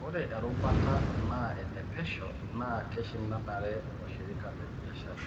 Ore erubata na ene pesho naa keishindanare washirika lebiashara.